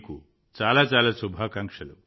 మీకు చాలా చాలా శుభాకాంక్షలు